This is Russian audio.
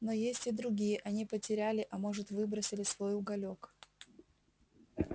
но есть и другие они потеряли а может выбросили свой уголёк